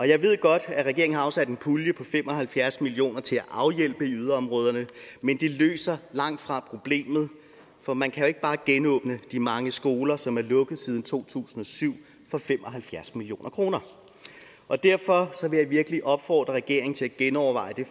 jeg ved godt at regeringen har afsat en pulje på fem og halvfjerds million kroner til at afhjælpe i yderområderne men det løser langtfra problemet for man kan jo ikke bare genåbne de mange skoler som er lukket siden to tusind og syv for fem og halvfjerds million kroner og derfor vil jeg virkelig opfordre regeringen til at genoverveje det